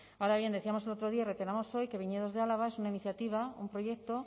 ahora bien decíamos el otro día y reiteramos hoy que viñedos de álava es una iniciativa un proyecto